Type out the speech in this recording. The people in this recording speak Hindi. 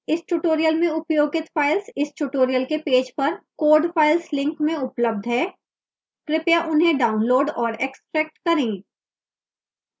इस tutorial में उपयोगित files इस tutorial के पेज पर code files link में उपलब्ध हैं कृपया उन्हें डाउनलोड और एक्स्ट्रैक्ट करें